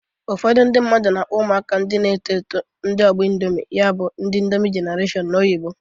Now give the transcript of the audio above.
Ụfọdụ ndị mmadu na-akpọ ụmụaka ndị na-eto eto ndị ọgbọ Indomị. Ya bụ, ndi Indomị jenareshọn n'oyibo